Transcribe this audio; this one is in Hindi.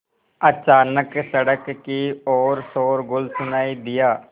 अचानक सड़क की ओर शोरगुल सुनाई दिया